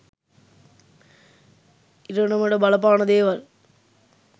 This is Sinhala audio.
ඉරණමට බලපාන දේවල්.